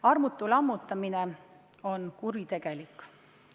Armutu lammutamine on kuritegelik.